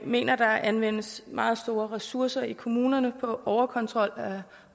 mener at der anvendes meget store ressourcer i kommunerne på overkontrol